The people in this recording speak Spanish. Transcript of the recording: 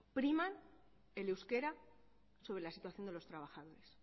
priman el euskera sobre la situación de los trabajadores